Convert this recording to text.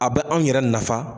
A bɛ an yɛrɛ nafa.